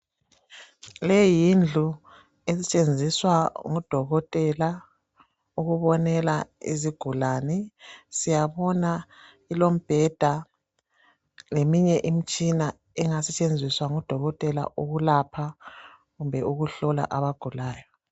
leyi yindlu esetshenziswa ngudokotela ukubonela izigulane siyabona ilombheda leminye imtshina engasetshenziswa ngu dokotela ukulapha kumbe ukuhlola abagulayo